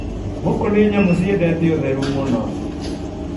Mbũkũ nĩ nyamũ ciendete ũtheru mũno.